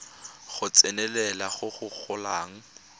go tsenelela go go golang